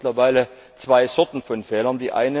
Wir haben ja mittlerweile zwei Sorten von Fehlern.